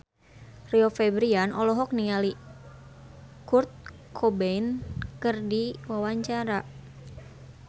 Rio Febrian olohok ningali Kurt Cobain keur diwawancara